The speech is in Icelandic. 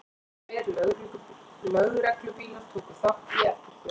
Tveir lögreglubílar tóku þátt í eftirförinni